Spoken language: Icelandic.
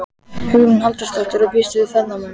Hugrún Halldórsdóttir: Og býstu við ferðamönnum?